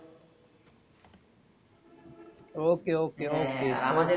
Okay okay okay